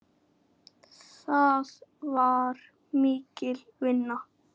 Það var mikil vinna.